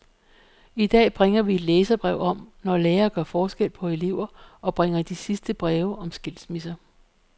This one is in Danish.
I dag bringer vi et læserbrev om, når lærere gør forskel på elever, og bringer de sidste breve om skilsmisser.